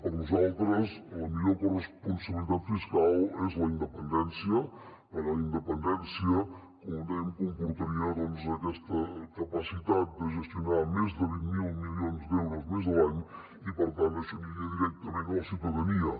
per nosaltres la millor corresponsabilitat fiscal és la independència perquè la independència com dèiem comportaria doncs aquesta capacitat de gestionar més de vint miler milions d’euros més a l’any i per tant això aniria directament a la ciutadania